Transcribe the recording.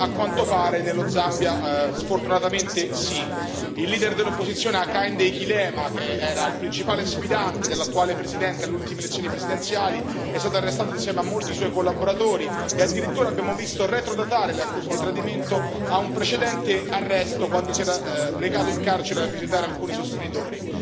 A quanto pare, nello Zambia, sfortunatamente sì. Il leader dell'opposizione Hakainde Hichilema, che era il principale sfidante dell'attuale presidente alle ultime lezioni presidenziali, è stato arrestato insieme a molti suoi collaboratori e addirittura abbiamo visto retrodatare le accuse di tradimento a un precedente arresto, quando si era recato in carcere a visitare alcuni sostenitori.